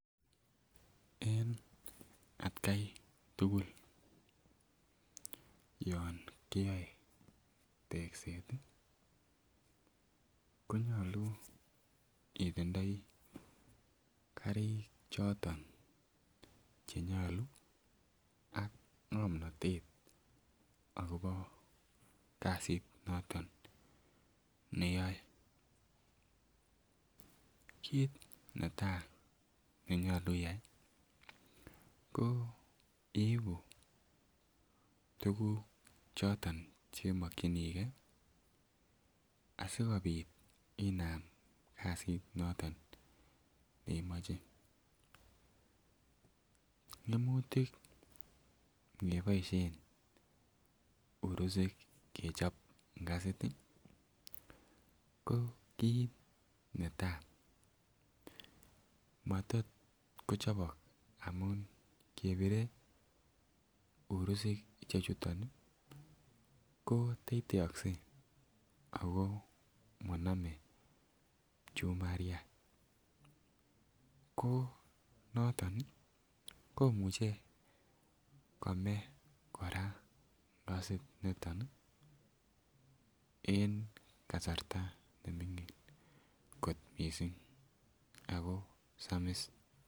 En atkai tugul yon kiyoe tekset ih konyolu itindoi karik choton chenyolu ak ng'omnotet akobo kasit noton neyoe. Kit netaa nenyolu iyai ko iibu tuguk choton chekimokyingee asikobit inam kasit noton nemoche. Ng'emutik ngeboisyen urusik ngechop ngasit ih ko kit netaa matot kochobok amun kebire urusik chuton ih ko teiteokse ako monome pchumariat ko noton ih komuche kome kora ngasit niton ih en kasarta neming'in kot missing ako samis